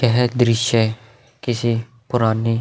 यह एक दृश्य है किसी पुरानी --